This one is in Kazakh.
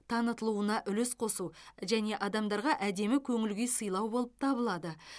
танытылуына үлес қосу және адамдарға әдемі көңіл күй сыйлау болып табылады